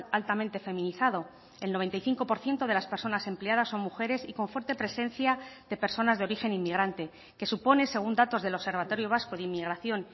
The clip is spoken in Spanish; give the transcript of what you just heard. altamente feminizado el noventa y cinco por ciento de las personas empleadas son mujeres y con fuerte presencia de personas de origen inmigrante que supone según datos del observatorio vasco de inmigración